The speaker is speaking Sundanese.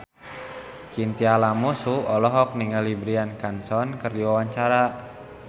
Chintya Lamusu olohok ningali Bryan Cranston keur diwawancara